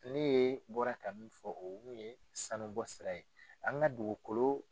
Ne bɔra ka min fɔ o ye sanubɔ sira ye an ka dugukolo